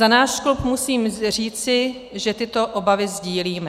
Za náš klub musím říci, že tyto obavy sdílíme.